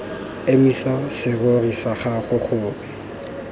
emisa serori sa gago gore